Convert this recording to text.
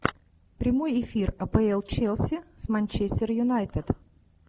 прямой эфир апл челси с манчестер юнайтед